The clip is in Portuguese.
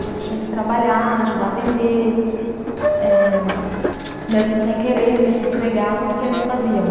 A gente tinha que trabalhar, ajudar a vender, eh mesmo sem querer, ter que entregar tudo o que eles faziam.